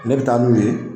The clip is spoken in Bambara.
Ne bɛ taa n'u ye